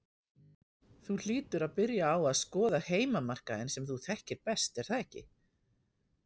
Þú hlýtur að byrja á að skoða heimamarkaðinn sem þú þekkir best er það ekki?